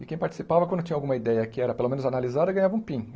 E quem participava, quando tinha alguma ideia que era, pelo menos, analisada, ganhava um Pin.